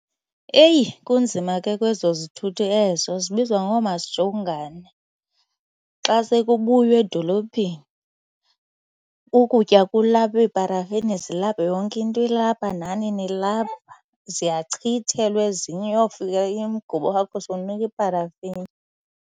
Eyi kunzima ke kwezo zithuthi ezo zibizwa ngoomasijongane. Xa sekubuywa edolophini ukutya kulapha, iiparafini zilapha yonke into ilapha nani nilapha. Ziyachithelwa ezinye uyofika umgubo wakho sonuka iparafini.